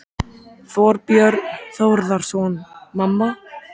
Þorbjörn Þórðarson: Mamma?